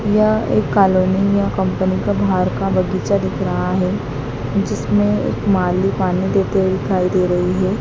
यह एक कॉलोनी या कंपनी का बाहर का बगीचा दिख रहा है जिसमें एक माली पानी देते दिखाई दे रही है।